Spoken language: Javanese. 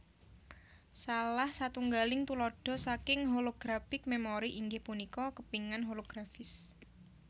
Salah satunggaling tuladha saking holographic memory inggih punika kepingan holografis